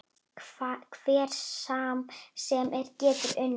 Hver sem er getur unnið.